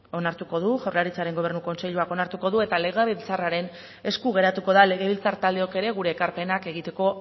onartuko du jaurlaritzaren gobernu kontseiluak onartuko du eta legebiltzarraren esku geratuko da legebiltzar taldeok ere gure ekarpenak egiteko